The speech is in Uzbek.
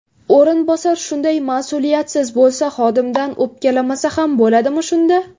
O‘rinbosar shunday mas’uliyatsiz bo‘lsa, xodimdan o‘pkalamasa ham bo‘ladimi shunda?